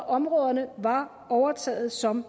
områderne var overtaget som